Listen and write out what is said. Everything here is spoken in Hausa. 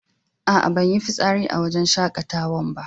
A'a, ban yi fisari a cikin wajen shakatawa'n ba.